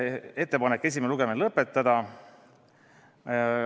Ettepanek on esimene lugemine lõpetada.